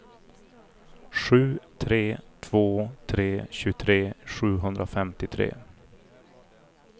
sju tre två tre tjugotre sjuhundrafemtiotre